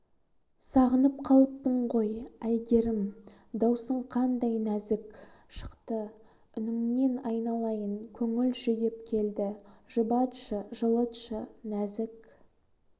сағынып қалыппын ғой әйгерім даусың қандай нәзік шықты үніңнен айналайын көңіл жүдеп келді жұбатшы жылытшы нәзік